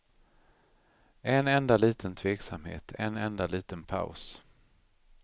En enda liten tveksamhet, en enda liten paus.